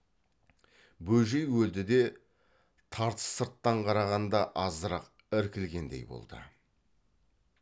бөжей өлді де тартыс сырттан қарағанда азырақ іркілгендей болды